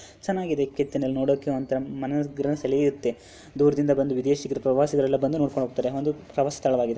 ಚೆನ್ನಾಗಿದೆ ಕೆತ್ತನೆ ನೋಡಕ್ಕೆ ಒಂತರಾ ಮನೆ ಸೆಳೆಯುತ್ತೆ. ದೂರದಿಂದ ಬಂದ ವಿದೇಶ ಪ್ರವಾಸಿಗರೆಲ್ಲಾ ಬಂದು ನೋಡ್ಕೊಂಡು ಹೋಗ್ತಾರೆ ಅದು ಪ್ರವಾಸಿಯ ಸ್ಥಳವಾಗಿದೆ.